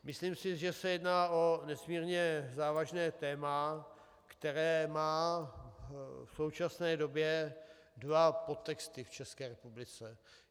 Myslím si, že se jedná o nesmírně závažné téma, které má v současné době dva podtexty v České republice.